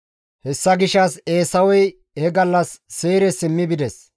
Hessa gishshas Eesawey he gallas Seyre simmi bides.